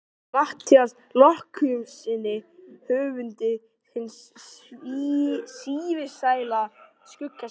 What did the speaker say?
Matthíasi Jochumssyni höfundi hins sívinsæla Skugga-Sveins.